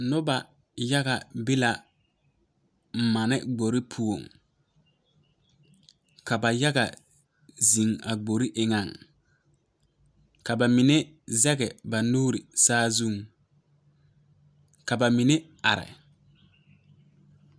Lɔɛ la paaki yaga yaga yaga ka motore meŋ biŋ biŋ peɛɛlaa lɔɛ mine kyɛ ka noba meŋ bebe a kyɛnɛ a lɔɛ sugɔŋ.